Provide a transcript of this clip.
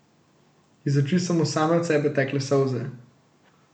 Iz oči so mu same od sebe tekle solze.